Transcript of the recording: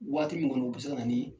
Waati min kɔni u bi se ka na ni